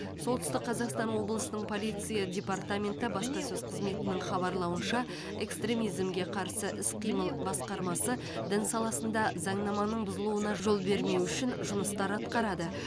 солтүстік қазақстан облысының полиция департаменті баспасөз қызметінің хабарлауынша экстремизмге қарсы іс қимыл басқармасы дін саласында заңнаманың бұзылуына жол бермеу үшін жұмыстар атқарады